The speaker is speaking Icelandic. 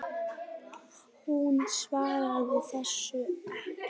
Hún svaraði þessu ekki.